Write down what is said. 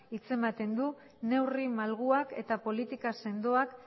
hitza ematen du neurri malguak eta politika sendoak